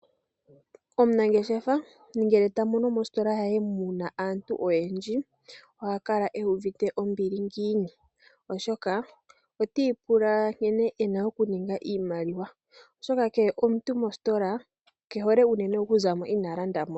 Omunangeshefa ngele tamono muna aantu oyendji oha kala uuvite ombili ngiini, oshoka otiipula nkene ena okuninga oshimaliwa oshoka kehe omuntu mositola kehole okuzamo mositola inaa landa sha.